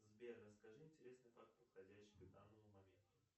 сбер расскажи интересный факт подходящий к данному моменту